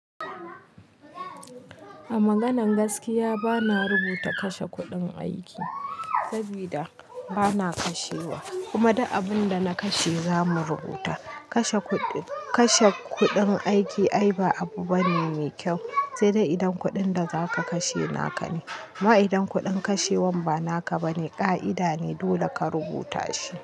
A maganan gaskiya bana rubuta kashe kuɗin aiki sabida bana kashewa kuma duk abunda na kashe zamu rubuta. Kashe kuɗin aiki ai ba abu bane me kyau sai idan kuɗin da zaka kashe naka ne. Ma idan kuɗin kashewan ba naka bane ka'ida ne dole ka rubuta shi.